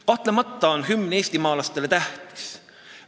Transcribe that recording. Kahtlemata on hümn eestimaalastele tähtis.